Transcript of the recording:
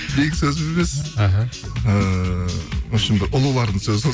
менің сөзім емес іхі ііі ұлылардың сөзі